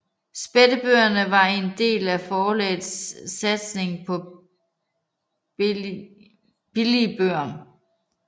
Spættebøgerne var en del af forlagets satsning på billigbøger